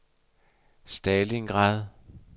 Stalingrad